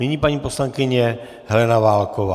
Nyní paní poslankyně Helena Válková.